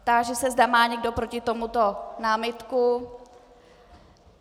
Táži se, zda má někdo proti tomuto námitku.